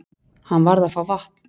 Hann varð að fá vatn.